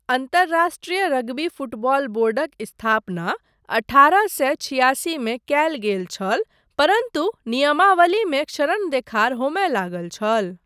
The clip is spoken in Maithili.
अन्तराष्ट्रीय रग्बी फुटबॉल बोर्डक स्थापना अठारह सए छियासीमे कयल गेल छल परन्तु नियामवलीमे क्षरण देखार होमय लागल छल।